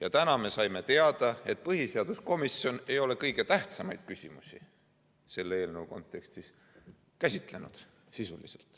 Aga täna me saime teada, et põhiseaduskomisjon ei ole kõige tähtsamaid küsimusi selle eelnõu kontekstis sisuliselt käsitlenud.